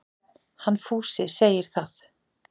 Hann Fúsi segir það.